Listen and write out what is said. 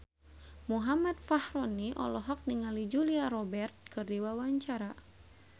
Muhammad Fachroni olohok ningali Julia Robert keur diwawancara